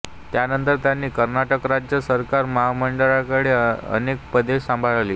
त्यानंतर त्यांनी कर्नाटक राज्य सरकार मंत्रीमंडळामध्ये अनेक पदे सांभाळली